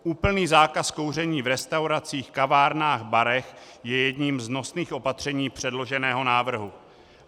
Úplný zákaz kouření v restauracích, kavárnách, barech je jedním z nosných opatření předloženého návrhu.